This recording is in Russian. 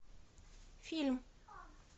фильм